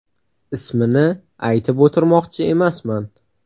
Ismini aytib o‘tirmoqchi emasman.